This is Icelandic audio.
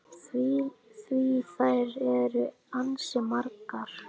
Því þær eru ansi margar.